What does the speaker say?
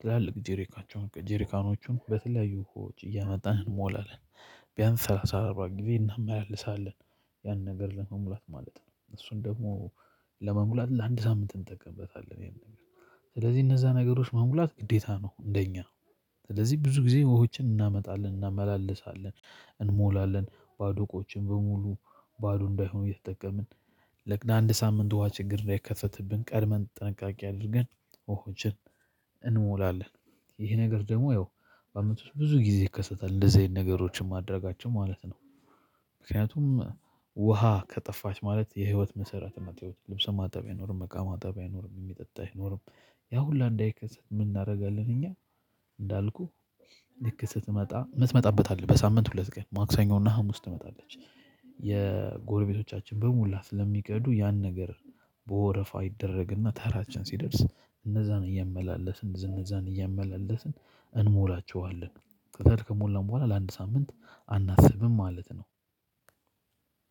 ትላልቅ ጄሪካቸውን ጄሪካኖችን በተለያዩ ውሃዎች እያመጣን እንሞላለን። ቢያንስ ሰላሳ አርባ ጊዜ እናመላልሳለን ያን ነገር ለመሙላት ማለት ነው። እሱን ደግሞ ለመሙላት ለአንድ ሳምንት እንጠቀምበታለን ይሄን ነገር። ስለዚህ እነዛ ነገሮች ማሙላት ግዴታ ነው እንደኛ ነው። ስለዚህ ብዙ ጊዜ ውሆችን እናመጣለን እናመላልሳለን። እንሞላለን ባዶ ቆችን በሙሉ ባዶ እንዳይሆን እየተጠቀምን ለአንድ ሳምንት ውሃ ችግር ላይከሰትብን ቀድመን ጠንቃቄ አድርገን ውሆችን እንሞላለን። ይሄ ነገር ደግሞ ያው በአመት ብዙ ጊዜ ይከሰታል እንደዚህ አይነት ነገሮችን ማድረጋቸው ማለት ነው። ምክንያቱም ውሃ ከጠፋች ማለት የህይወት መሰረት ናት። ህይወት ልብሰን ማጠብ አይኖርም በቃ ማጠብ አይኖርም ሚጠጣህ ኖሮ። ያ ሁሉ እንዳይከሰት ምን እናደርጋለን እኛ? እንዳልኩህ ልክ ስትመጣ ምትመጣበታለህ አለ በሳምንት ሁለት ቀን ማክሰኞ እና ሀሙስ ትመጣለች። የጎረቤቶቻችን በሙላ ስለሚቀዱ ያን ነገር። በወረፋ ይደረግና ተራችን ሲደርስ እነዛን እያመላለስን እነዛን እያመላለስን እንሞላቸዋለን። ከተሞላ በኋላ ለአንድ ሳምንት አናስብም ማለት ነው።